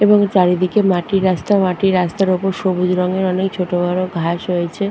এবং চারিদিকে মাটির রাস্তা। মাটির রাস্তার ওপর সবুজ রঙের অনেক ছোট বড় ঘাস হয়েছে।